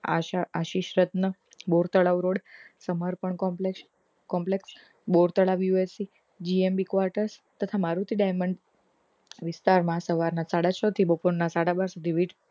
આશા Ashishratna Bor Talav road Samarpan complex Bor Talav USAGMB quarter તથા Maruti daimond વિસ્તાર માં સવાર ના સાડા છ થી બાપોર ના સાડા બાર સુધી વીજ